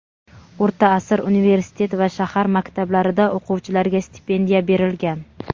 O‘rta asr universitet va shahar maktablarida o‘quvchilarga stipendiya berilgan.